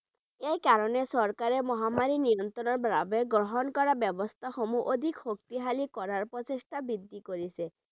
এই কাৰনে চৰকাৰে মহামাৰী নিয়ন্ত্ৰৰ বাবে গ্ৰহণ কৰা ব্যৱস্থা সমূহ অধিক শক্তিশালী কৰাৰ প্ৰচেষ্টা বৃদ্ধি কৰিছে।